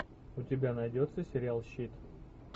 у тебя найдется сериал щит